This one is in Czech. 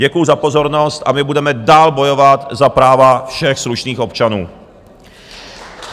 Děkuju za pozornost a my budeme dál bojovat za práva všech slušných občanů!